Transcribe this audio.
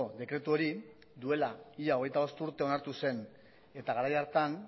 dekretu hori duela ia hogeita bost urte onartu zen eta garai hartan